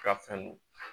Ka fɛn don